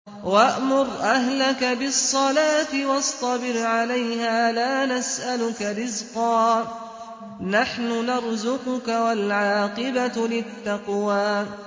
وَأْمُرْ أَهْلَكَ بِالصَّلَاةِ وَاصْطَبِرْ عَلَيْهَا ۖ لَا نَسْأَلُكَ رِزْقًا ۖ نَّحْنُ نَرْزُقُكَ ۗ وَالْعَاقِبَةُ لِلتَّقْوَىٰ